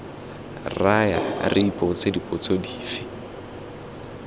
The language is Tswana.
raya re ipotsa dipotso dife